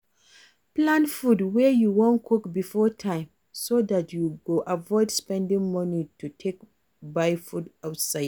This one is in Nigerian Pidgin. Plan food wey you wan cook before time so dat you go avoid spending money to take buy food outside